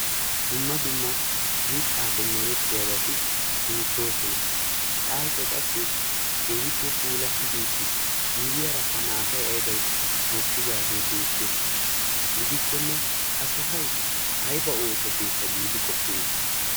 dumma dumma mittaape meretiyabati beettoosona sa'aykka qassi keehippe puulattidi uttis miyiaarakka qassi maatay aybay mokkidaagee beettes gidikkone ha sohay ayba ooso keetta giidi qoppeetii?